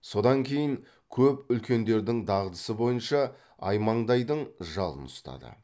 содан кейін көп үлкендердің дағдысы бойынша аймаңдайдың жалын ұстады